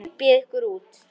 Hypjið ykkur út.